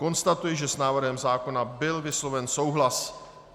Konstatuji, že s návrhem zákona byl vysloven souhlas.